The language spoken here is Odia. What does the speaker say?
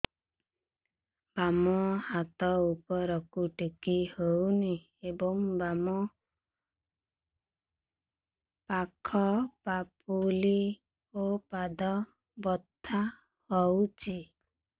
ବାମ ହାତ ଉପରକୁ ଟେକି ହଉନି ଏବଂ ବାମ ପାଖ ପାପୁଲି ଓ ପାଦ ବଥା ହଉଚି